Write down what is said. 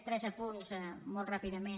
tres apunts molt ràpidament